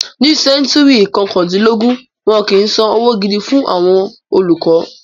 Ní sẹ́ńtúrì kọkàndínlógún, wọn kìí San owó gidi fún àwọn olùkọ́.